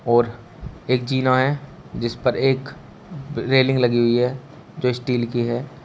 और एक जीना है जिस पर एक रेलिंग लगी हुई है जो स्टील की है।